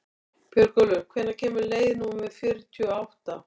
Björgólfur, hvenær kemur leið númer fjörutíu og átta?